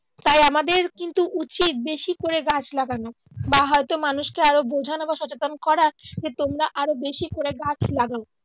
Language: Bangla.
তাই আমাদের কিন্তু উচিত বেশি করে গাছ লাগানো বা হয়তো মানুষকে আরো বুঝানো বা সচেতন করা যে তোমরা আরো বেশি করে গাছ লাগাও